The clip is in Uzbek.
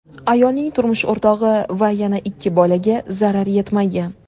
Ayolning turmush o‘rtog‘i va yana ikki bolaga zarar yetmagan.